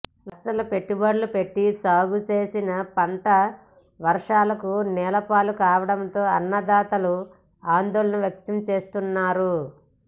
లక్షలు పెట్టుబడులు పెట్టి సాగు చేసిన పంట వర్షాలకు నేలపాలు కావడంతో అన్నదాతలు ఆందోళన వ్యక్తంచేస్తున్నారు